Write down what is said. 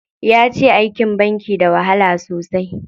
Yace aikin banki da wahala sosai.